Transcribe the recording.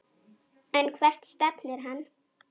En hvert stefnir hann?